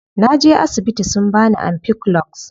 Naje asibiti sun bani ampiclox.